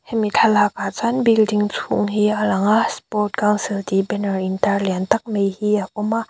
hemi thlalakah chuan building chhung hi a lang a sport council tih banner in tar lian tak mai hi a awm a.